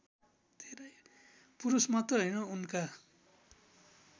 पुरुषमात्र हैन उनका